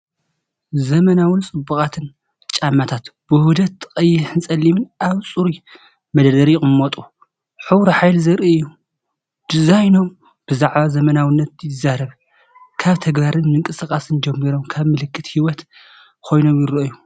ዘመናውን ጽቡቓትን ጫማታት ብውህደት ቀይሕን ጸሊምን ኣብ ጽሩይ መደርደሪ ይቕመጡ። ሕብሩ ሓይሊ ዘርኢ እዩ፣ ዲዛይኖም ብዛዕባ ዘመናዊነት ይዛረብ፤ ካብ ተግባርን ምንቅስቓስን ጀሚሮም ከም ምልክት ህይወት ኮይኖም ይረኣዩ።